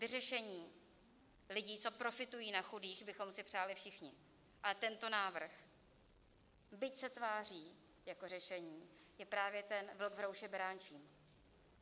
Vyřešení lidí, co profitují na chudých, bychom si přáli všichni, ale tento návrh, byť se tváří jako řešení, je právě ten vlk v rouše beránčím.